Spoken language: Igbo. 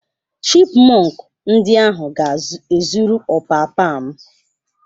Chipmọnk ndi ahụ ga-ezuru ọpapa m.